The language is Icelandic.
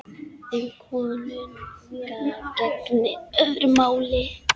Um konunga gegnir öðru máli.